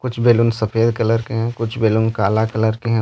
कुछ बैलून सफेद कलर के हैं कुछ बैलून काला कलर के हैं।